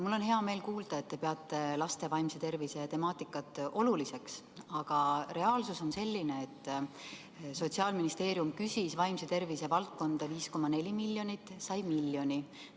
Mul on hea meel kuulda, et te peate laste vaimse tervise temaatikat oluliseks, aga reaalsus on selline, et Sotsiaalministeerium küsis vaimse tervise valdkonda 5,4 miljonit eurot, sai 1 miljoni.